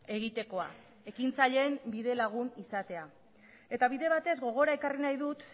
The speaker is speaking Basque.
egitekoa ekintzaileen bidelagun izatea eta bide batez gogora ekarri nahi dut